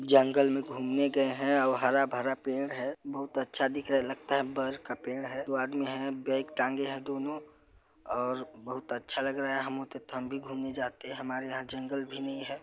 जंगल में घूमने गए हैं और हरा भरा पेड़ है बहुत अच्छा दिख रहा लगता है बर का पेड़ हैदो आदमी है बैग टाँगे हैं दोनों और बहुत अच्छा लग रहा है हम होते तोह हम भी घूमने जाते हमारे यहाँ जंगल भी नहीं है।